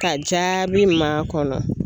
Ka jaabi makɔnɔ.